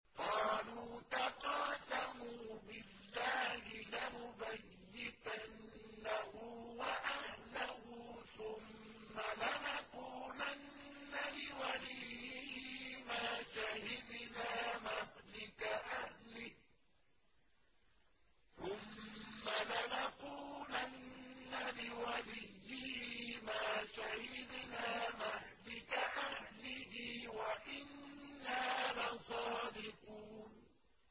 قَالُوا تَقَاسَمُوا بِاللَّهِ لَنُبَيِّتَنَّهُ وَأَهْلَهُ ثُمَّ لَنَقُولَنَّ لِوَلِيِّهِ مَا شَهِدْنَا مَهْلِكَ أَهْلِهِ وَإِنَّا لَصَادِقُونَ